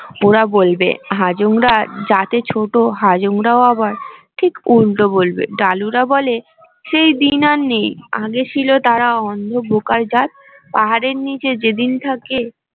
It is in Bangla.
ওরা বলবে হাজং রা জাতে ছোট হাজুং রাও আবার ঠিক উল্টো বলবে ডালুরা বলে সেই দিন আর নেই আগে ছিল তারা অন্ধ বোকার জাত পাহারের নীচে যেদিন থাকে